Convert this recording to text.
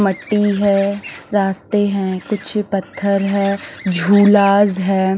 मट्टी है रास्ते हैं कुछ पत्थर है झुलास है।